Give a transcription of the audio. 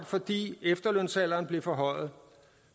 fordi efterlønsalderen blev forhøjet